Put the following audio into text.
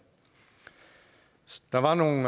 der var nogle